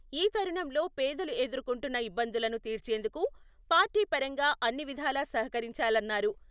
ఈ తరుణంలో పేదలు ఎదుర్కొంటున్న ఇబ్బందులను తీర్చేందుకు పార్టీ పరంగా అన్ని విధాలా సహకరించాలన్నారు.